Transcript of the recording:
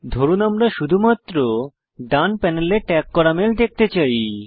ধরুন আমরা শুধুমাত্র ডান প্যানেলে ট্যাগ করা মেল দেখতে চাই